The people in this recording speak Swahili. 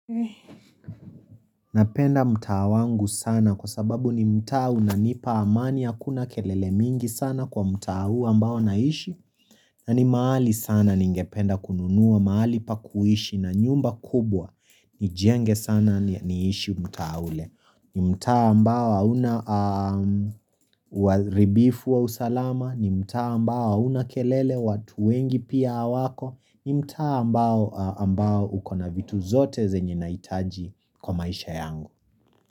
Napenda mtaa wangu sana kwa sababu ni mtaa unanipa amani kwa sababu hakuna kelele mingi sana kwa mtau ambao naishi nani mahali sana ningependa kununua mahali pa kuishi na nyumba kubwa nijenge sana niishi mtaa ule ni mta ambao hauna uharibifu wa usalama ni mtaa ambao hauna kelele watu wengi pia wako ni mtaa ambao ukona vitu zote zenye naitaji kwa maisha yangu.